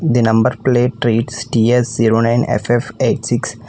The number plate treats ts zero nine ff eight six.